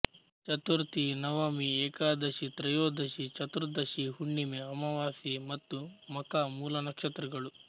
ಚತುರ್ಥಿ ನವಮಿ ಏಕಾದಶಿ ತ್ರಯೋದಶಿ ಚತುರ್ದಶಿ ಹುಣ್ಣಿಮೆ ಅಮಾವಾಸ್ಯೆ ಮತ್ತು ಮಖಾ ಮೂಲಾ ನಕ್ಷತ್ರಗಳು